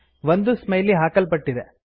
ಒಂದು ಸ್ಮೈಲಿ ಹಾಕಲ್ಪಟ್ಟಿದೆ